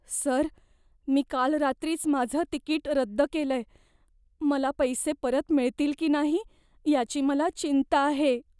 Sir, मी काल रात्रीच माझं तिकीट रद्द केलंय. मला पैसे परत मिळतील की नाही याची मला चिंता आहे.